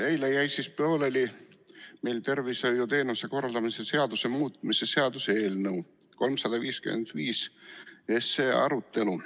Eile jäi meil pooleli tervishoiuteenuste korraldamise seaduse muutmise seaduse eelnõu 355 arutelu.